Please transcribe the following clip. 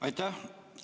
Aitäh!